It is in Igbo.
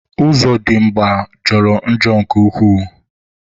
Ozodimgba jọrọ njọ nke ukwuu.